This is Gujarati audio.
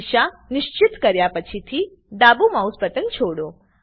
દિશા નિશ્ચિત કર્યા પછીથી ડાબું માઉસ બટન છોડો